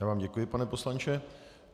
Já vám děkuji, pane poslanče.